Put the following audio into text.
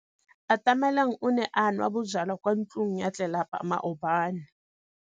Atamelang o ne a nwa bojwala kwa ntlong ya tlelapa maobane.